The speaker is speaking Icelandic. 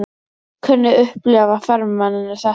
Hvernig upplifa ferðamennirnir þetta?